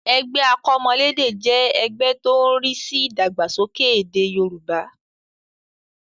Ẹgbẹ́ akọ́mọlédè jẹ́ ẹgbẹ́ tó ń rí sí ìdàgbàsókè èdè Yorùbá